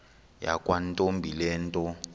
yakwantombi le nto